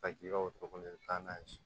Ka k'i ka wotoro kɔnɔ i bɛ taa n'a ye